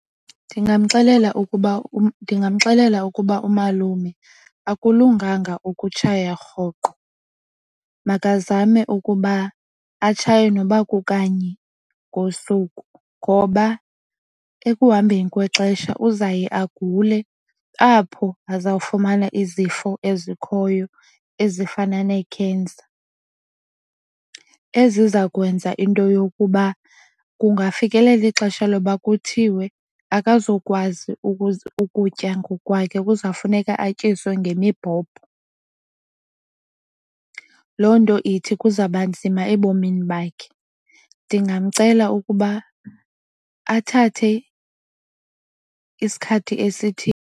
Ndingamxelela ukuba umalume akulunganga ukutshaya rhoqo. Makazame ukuba atshaye noba kukanye ngosuku ngoba ekuhambeni kwexesha uzaye agule apho azawufumana izifo ezikhoyo ezifana nee-cancer, eziza kwenza into yokuba kungafikelela ixesha loba kuthiwe akazukwazi ukutya ngokwakhe, kuzawufuneka atyiswe ngemibhobho. Loo nto ithi kuzawuba nzima ebomini bakhe, ndingamcela ukuba athathe isikhathi .